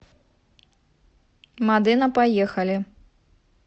модена поехали